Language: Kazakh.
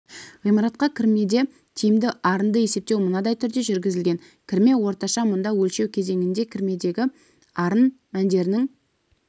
ғимаратқа кірмеде тиімді арынды есептеу мынадай түрде жүргізілген кірме орташа мұнда өлшеу кезеңінде кірмедегі арын мәндерінің